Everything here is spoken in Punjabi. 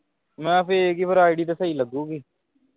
ਮਹਿ fake ਹੀ ID ਤੇ ਸਹੀ ਲੱਗੂਗੀ।